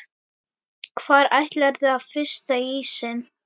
Hvar ætlarðu að frysta ísinn?